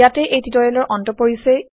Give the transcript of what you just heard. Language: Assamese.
ইয়াতে এই টিউটৰিয়েলৰ অন্ত পৰিছে